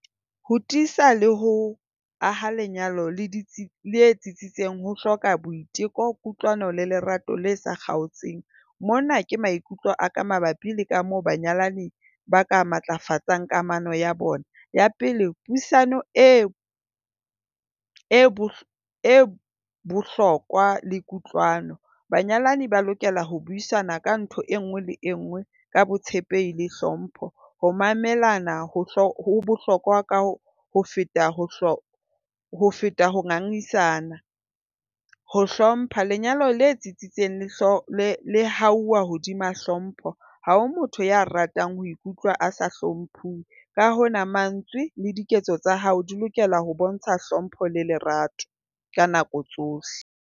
Ho tiisa le ho aha lenyalo le tsitsitseng ho hloka boiteko, kutlwano le lerato le sa kgaotseng. Mona ke maikutlo a ka mabapi le ka moo banyalani ba ka matlafatsang kamano ya bona. Ya pele, puisano e e bohlokwa le kutlwano. Banyalani ba lokela ho buisana ka ntho e nngwe le e nngwe ka botshepehi le hlompho. Ho mamelana ho bohlokwa ka ho feta feta ho ngangisana ho hlompha. Lenyalo le tsitsitseng le hauwa hodima hlompho. Ha o motho ya ratang ho ikutlwa a sa hlomphiwe ka hona mantswe le diketso tsa hao di lokela ho bontsha hlompho le lerato ka nako tsohle.